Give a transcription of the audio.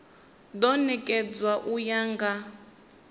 do nekedzwa u ya nga